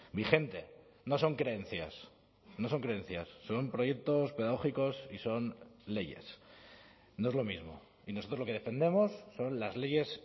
vigente no son creencias no son creencias son proyectos pedagógicos y son leyes no es lo mismo y nosotros lo que defendemos son las leyes